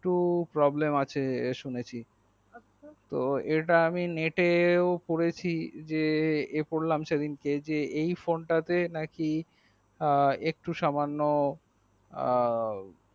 একটু problem আছে শুনেছি তো ইটা আমি নেটেও পড়েছি যে এ পড়লাম সেদিন কে এই phone তা তে নাকি একটু সামান্য আ